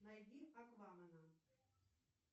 найди аквамена